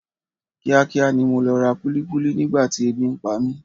Kíá kíá ni mo lọ ra kúlíkúlí nígbà tí ebi ń pa mi.